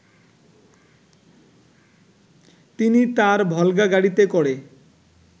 তিনি তার ভলগা গাড়িতে করে